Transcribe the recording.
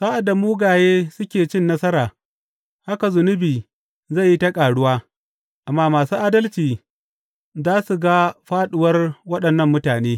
Sa’ad da mugaye suke cin nasara, haka zunubi zai yi ta ƙaruwa, amma masu adalci za su ga fāɗuwar waɗannan mutane.